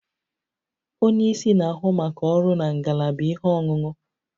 Onye isi na-ahụ maka ọrụ na ngalaba ihe ọṅụṅụ